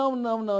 Não, não, não.